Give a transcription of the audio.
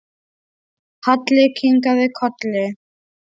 Halli kinkaði kolli.